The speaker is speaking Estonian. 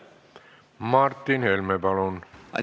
Martin Helme, palun!